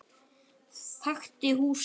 Þekkti húsið.